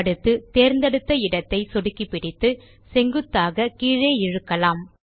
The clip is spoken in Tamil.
அடுத்து தேர்ந்தெடுத்த இடத்தை சொடுக்கிப்பிடித்து செங்குத்தாக கீழே இழுக்கலாம்